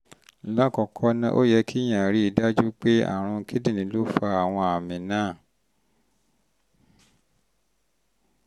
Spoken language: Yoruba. lákọ̀ọ́kọ́ ná ó yẹ kéèyàn rí i dájú pé àrùn kíndìnrín ló fa àwọn àmì náà um